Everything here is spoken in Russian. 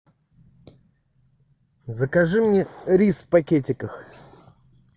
закажи мне рис в пакетиках